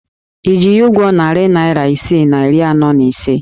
Ị ji ya ụgwọ narị naịra isii na iri anọ na ise?